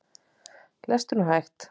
Lestu nú hægt!